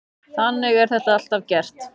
Þannig er þetta alltaf gert.